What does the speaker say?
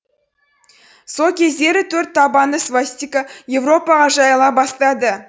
кездері төрт табанды свастика еуропаға жайыла бастады